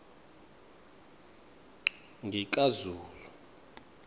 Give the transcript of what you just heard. ngikazulu